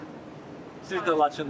Siz də Laçınlısız?